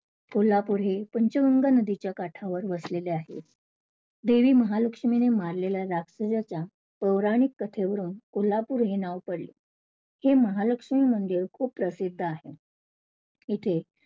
कोल्हापूर हे पंचगंगा नदीच्या काठावर वसलेले आहे. देवी महालक्ष्मीने मारलेल्या राक्षसाच्या पौराणिक कथेवरून कोल्हापूर हे नाव पडले. हे महालक्ष्मी मंदिर खूप प्रसिद्ध आहे. इथे